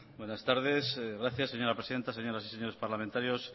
buenas tardes gracias señora presidenta señoras y señores parlamentarios